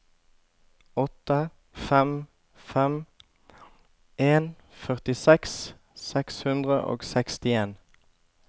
åtte fem fem en førtiseks seks hundre og sekstien